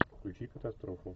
включи катастрофу